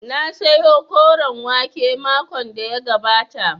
Na sayo koren wake makon da ya gabata